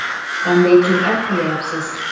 Qanday jur’at qilyapsiz?